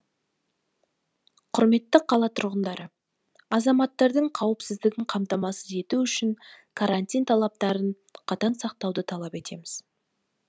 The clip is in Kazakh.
құрметті қала тұрғындары азаматтардың қауіпсіздігін қамтамасыз ету үшін карантин талаптарын қатаң сақтауды талап етеміз